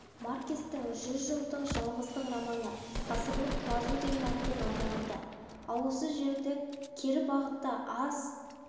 маркестің жүз жылдық жалғыздық романы ғасырлық құлазу деген атпен аударылды ал осы жерде кері бағытта аз